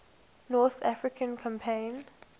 north african campaign